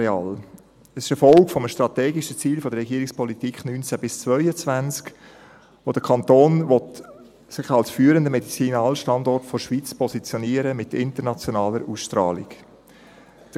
Dies ist eine Folge eines strategischen Ziels der Regierungspolitik 2019–2022, gemäss dem sich der Kanton als führender Medizinalstandort der Schweiz mit internationaler Ausstrahlung positionieren will.